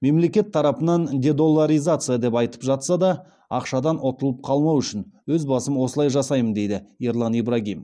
мемлекет тарапынан дедоллараризация деп айтып жатса да ақшадан ұтылып қалмау үшін өз басым осылай жасаймын дейді ерлан ибрагим